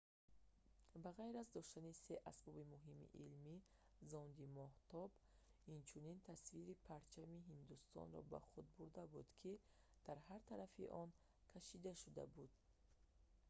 ба ғайр аз доштани се асбоби муҳими илмӣ зонди моҳтоб инчунин тасвири парчами ҳиндустонро бо худ бурда буд ки дар ҳар тарафи он кашида шуда буд